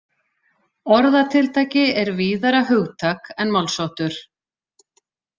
Orðatiltæki er víðara hugtak en málsháttur.